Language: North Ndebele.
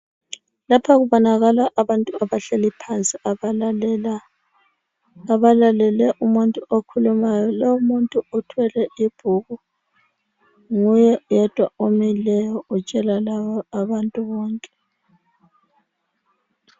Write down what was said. lapha kubonakala abantu abahleli phansi abalalela abalalele umuntu okhulumayo lowu umuntu uthwele ibhuku nguye yedwa omileyo etshela labo abantu bonke